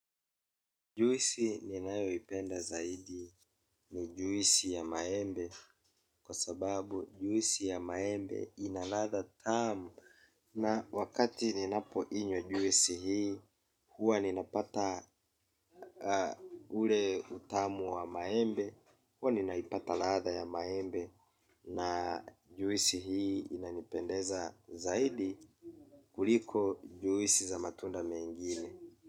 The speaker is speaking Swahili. Juisi ninayoipenda zaidi ni juisi ya maembe kwa sababu juisi ya maembe inaladha tamu na wakati ninapo inywa juisi hii huwa ninapata ule utamu wa maembe huwa ninaipata ladha ya maembe na juisi hii inanipendeza zaidi kuliko juisi za matunda mengine.